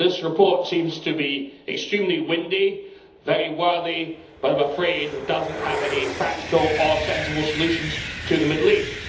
This report seems to be extremely windy and very worthy, but I am afraid that it does not have any practical or sensible solutions to the Middle East.